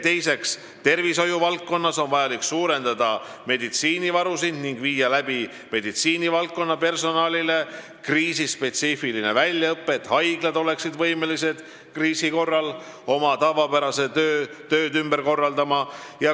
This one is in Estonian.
Teiseks, tervishoiuvaldkonnas on vaja suurendada meditsiinivarusid ning teha meditsiinivaldkonna personalile kriisispetsiifiline väljaõpe, et haiglad oleksid võimelised kriisi korral oma tavapärased tööd ümber korraldama.